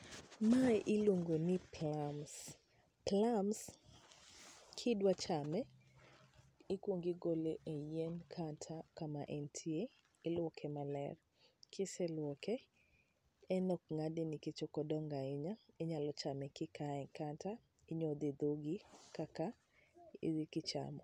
Mae iluongo ni plums. Plums , ka idwa chame, ikwongo igole e yien kata kama entie, ilwoke maler. Kiselwoke, en ok ng'ade nikech ok odongo ahinya, inyalo chame kikaye, kata inyodhe e dhogi kaka kichamo.